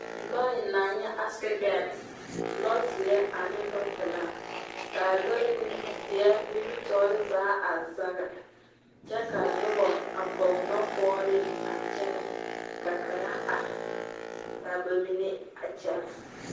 Nɔɛ naŋ nyɛ asedɛn, lɔzeɛ ane lɔpelaa, kaa lɔr nimi zeɛ nimitɔɔre zaa a zage. Kyɛ ka nobɔ a pɔge nɔpɔgere a kyɛnɛ ka kaŋa are kaa ba mine a kyɛnɛ.